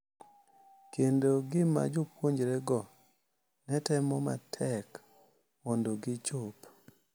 Kendo gima jopuonjrego ne temo matek mondo gichop: